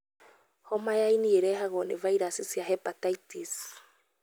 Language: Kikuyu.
Homa ya ini ĩrehagwo nĩ vairaci cia hepatitis.